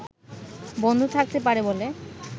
বন্ধ থাকতে পারে বলে